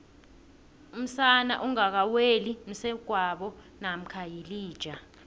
umsana ongakaweli msegwabo namkha yilija